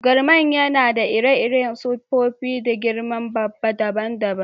Garman yana da ire-iren siffofi da girma dabban-dabban.